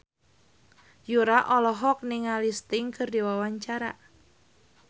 Yura olohok ningali Sting keur diwawancara